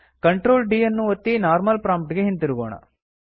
Ctrl D ಯನ್ನು ಒತ್ತಿ normal prompt ಗೆ ಹಿಂತಿರುಗೋಣ